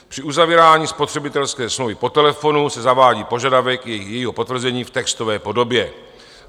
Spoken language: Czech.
Při uzavírání spotřebitelské smlouvy po telefonu se zavádí požadavek jejího potvrzení v textové podobě.